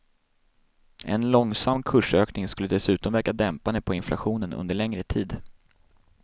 En långsam kursökning skulle dessutom verka dämpande på inflationen under längre tid.